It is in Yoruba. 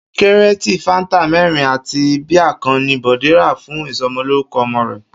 Kíréètì fáńtà mé̩rin àti bíà kan ni Bò̩dé rà fún ìso̩mo̩lórúko̩ o̩mo̩ rè̩